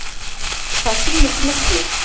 Það sýni smyglið.